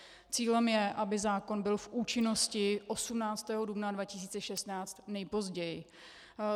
Cílem je, aby zákon byl v účinnosti 18. dubna 2016 nejpozději.